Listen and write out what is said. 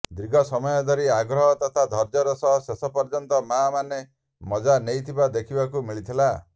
ଦୀର୍ଘ ସମୟ ଧରି ଆଗ୍ରହ ତଥା ଧର୍ଯ୍ୟର ସହ ଶେଷ ପର୍ଯ୍ୟନ୍ତ ମା ମାନେ ମଜା ନେଇଥିବା ଦେଖିବାକୁ ମିଳିଥିଲା